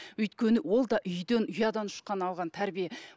өйткені ол да үйден ұядан ұшқан алған тәрбие